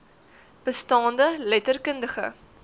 bestaande letter kundige